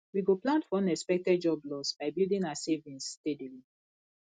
we go plan for unexpected job loss by building our savings steadily